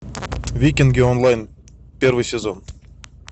викинги онлайн первый сезон